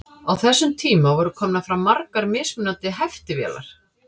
á þessum tíma voru komnar fram margar mismunandi heftivélar